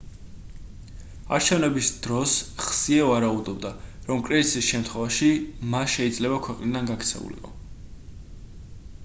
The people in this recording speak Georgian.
არჩევნების დროს ხსიე ვარაუდობდა რომ კრიზისის შემთხვევაში მა შეიძლება ქვეყნიდან გაქცეულიყო